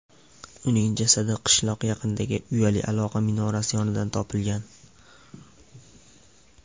Uning jasadi qishloq yaqinidagi uyali aloqa minorasi yonidan topilgan.